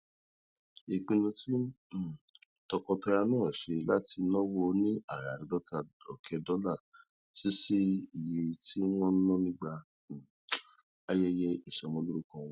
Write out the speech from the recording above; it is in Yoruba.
ìpinnu tí um tọkọtaya náà ṣe láti náwó ní àràádóta òké dólà sí sí iye tí wón ná nígbà um ayẹyẹ ìsọmọlórúkọ wọn